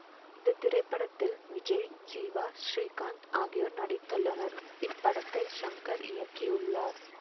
இந்த திரைப்படத்தில் விஜய் ஜீவா ஸ்ரீகாந்த் ஆகியோர் நடித்துள்ளனர் இப்படத்தை ஷங்கர் இயக்கியுள்ளார்